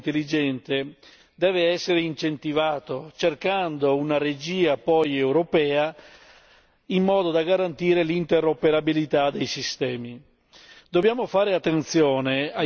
L'implementazione dei sistemi di trasporto intelligente deve essere incentivata cercando poi una regia europea in modo da garantire l'interoperabilità dei sistemi.